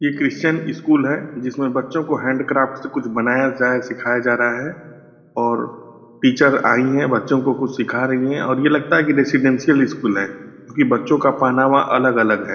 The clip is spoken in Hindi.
ये क्रिस्चियन स्कूल है जिसमें बच्चों को हैंड क्राफ्ट से कुछ बनाया जाये सिखाया जा रहा है और टीचर आईं हैं और बच्चों को कुछ सीखा रहीं हैं और ये लगता है की रेसिडेंटिअल स्कूल है क्योकि बच्चों का पहनावा अलग-अलग है।